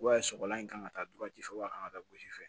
sɔgɔlan in kan ka taa dutigi fɛ o a kan ka taa gosi fɛ